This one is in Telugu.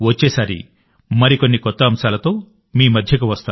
వచ్చేసారి మరికొన్ని కొత్త అంశాలతో మీ మధ్యకి వస్తాను